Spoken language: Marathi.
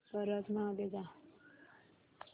परत मागे जा